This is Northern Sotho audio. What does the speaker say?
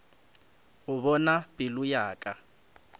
go bona pelo ya ka